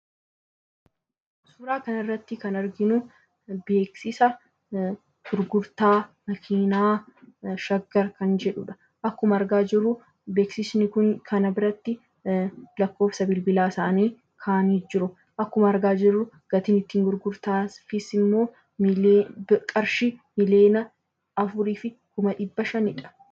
Suuraa kana irratti kan arginu, beeksisa gurgurtaa makiinaa shaggar kan jedhudha. Akkuma argaa jirru beeksisni kun makiinaa biratti lakkoofsa bilbilaa kaa'anii jiru. Akkuma argaa jirru gatiin ittiin gurgurtaas immoo qarshii miliyoona afurii fi kuma dhibba shanidha.